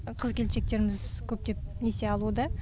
қыз келіншектеріміз көптеп несие алуда